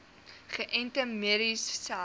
geënte merries selfs